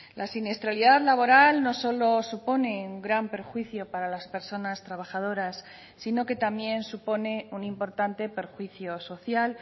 la siniestralidad laboral no solo supone un gran perjuicio para las personas trabajadoras sino que también supone un importante perjuicio social